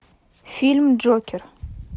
фильм джокер